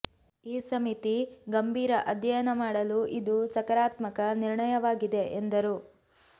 ಈ ಸಮಿತಿ ಗಂಭೀರ ಅಧ್ಯಯನ ಮಾಡಲು ಇದು ಸಕಾರಾತ್ಮಕ ನಿರ್ಣಯವಾಗಿದೆ ಎಂದರು